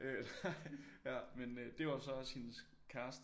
Nej ja men øh det var så også hendes kæreste